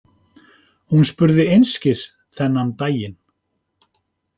Hún spurði einskis þennan daginn.